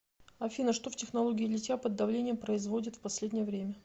афина что в технологии литья под давлением производят в последнее время